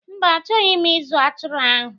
Mba, achọghị m ịzụ atụrụ ahụ.